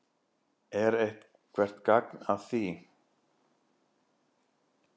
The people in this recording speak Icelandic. Er eitthvert gagn að því?